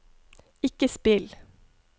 ikke spill